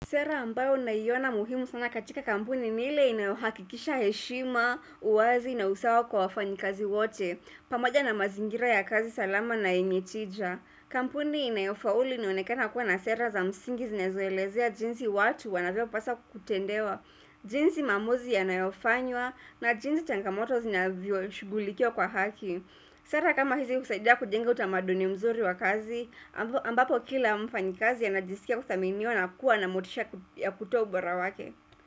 Sera ambayo naiona muhimu sana katika kampuni ni ile inayohakikisha heshima, uwazi na usawa kwa wafanyikazi wote, pamoja na mazingira ya kazi salama na yenye tija. Kampuni inayofaulu inaonekana kuwa na sera za msingi zinazoelezea jinsi watu wanaweza kupaswa kutendewa, jinsi maamuzi yanayofanywa na jinsi changamoto zinavyoshughulikiwa kwa haki. Sera kama hizi husaidia kujenga utamaduni mzuri wa kazi, ambapo kila mfanyikazi anajisikia kuthaminiwa na kuwa na motisha ya kutoa ubora wake.